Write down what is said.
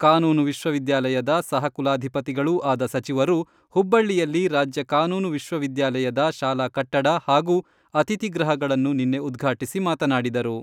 ಕಾನೂನು ವಿಶ್ವವಿದ್ಯಾಲಯದ ಸಹಕುಲಾಧಿಪತಿಗಳೂ ಆದ ಸಚಿವರು, ಹುಬ್ಬಳ್ಳಿಯಲ್ಲಿ ರಾಜ್ಯ ಕಾನೂನು ವಿಶ್ವವಿದ್ಯಾಲಯದ ಶಾಲಾ ಕಟ್ಟಡ ಹಾಗೂ ಅತಿಥಿ ಗೃಹಗಳನ್ನು ನಿನ್ನೆ ಉದ್ಘಾಟಿಸಿ ಮಾತನಾಡಿದರು.